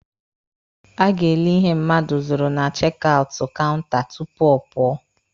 A ga-ele ihe mmadụ zụrụ na chek aụtụ kaụnta tupu ọ pụọ.